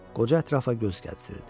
Qoca ətrafa göz gəzdirirdi.